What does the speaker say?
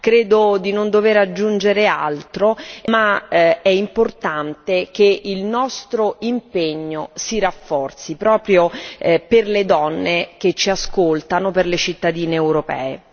Credo di non dover aggiungere altro, ma è importante che il nostro impegno si rafforzi, proprio per le donne che ci ascoltano, per le cittadine europee.